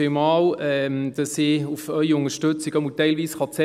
Vielen Dank, dass ich auf Ihre Unterstützung zählen kann, zumindest teilweise.